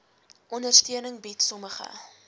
ondersteuning bied sommige